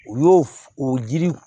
U y'o f o jiri